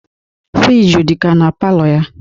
Friji dikwa na palọ ya.